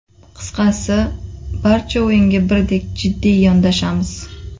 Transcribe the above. Qisqasi, barcha o‘yinga birdek jiddiy yondashamiz.